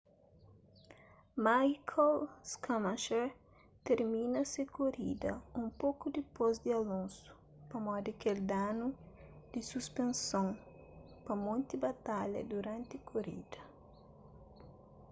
michael schumacher tirmina se korida un poku dipôs di alonso pamodi kel danu di suspenson pa monti batalha duranti korida